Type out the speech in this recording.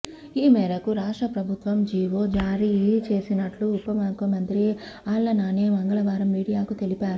ఈ మేరకు రాష్ట్ర ప్రభుత్వం జీవో జారీ చేసినట్లు ఉప ముఖ్యమంత్రి ఆళ్ల నాని మంగళవారం మీడియాకు తెలిపారు